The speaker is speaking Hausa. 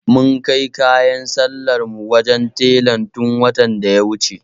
Mun kai kayan sallar mu wajen tela tun watan da ya wuce.